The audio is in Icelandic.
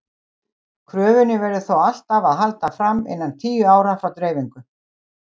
Kröfunni verður þó alltaf að halda fram innan tíu ára frá dreifingu.